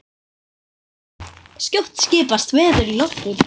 Skjótt skipast veður í lofti.